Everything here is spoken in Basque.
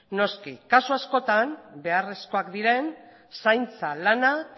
noski kasu askotan beharrezkoak diren zaintza lanak